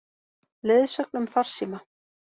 Leiðsögn um farsíma